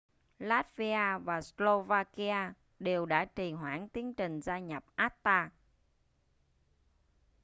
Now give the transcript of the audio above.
latvia và slovakia đều đã trì hoãn tiến trình gia nhập acta